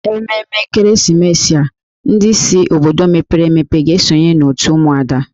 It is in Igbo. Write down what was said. Ememme ekeresimesi a, ndị si obodo mepere emepe ga-esonye otù ụmụada